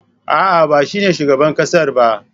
A'a, ba shine shugaban ƙasar ba.